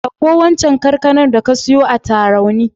Ɗanko waccan kankanar da ka siyo a Tarauni.